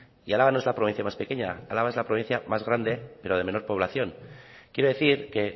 y álava no es la provincia más pequeña álava es la provincia más grande pero de menor población quiero decir que